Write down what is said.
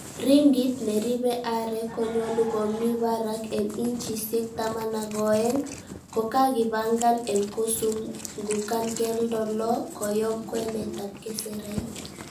Ringit neribe aarek konyolu ko mi barak en inchisiek taman ak o'eng, ko kakipangan en kosungugan keldo loo koyoom kwenet ab keserait.